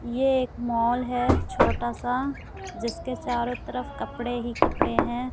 ये एक मॉल है छोटा सा जिसके चारों तरफ कपड़े ही कपड़े हैं।